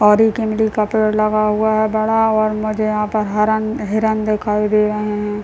और एक इमली का पेड़ लगा हुआ है बड़ा मुझे यहाँ पे हरन हिरन दिखाई दे रहे है ।